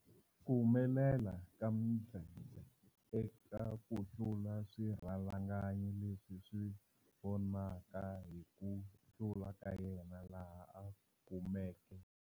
Ku humelela ka Mdletshe eka ku hlula swirhalanganya leswi swi vonaka hi ku hlula ka yena laha a kumeke.